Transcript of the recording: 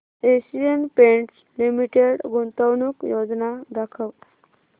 Asian Paints Limited गुंतवणूक योजना दाखव